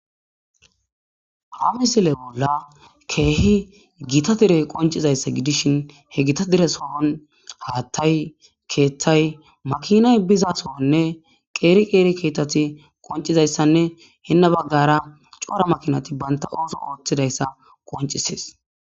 Haa missile bolla kehi dereyi qonccizayissa gidishshin hee Gita dere soon hatayi ketayi makinayi biza sohonne qeri qeri ketati qonicizayissanne hene bagara cora makinayi banita oththo oththizayissa qoniccisess .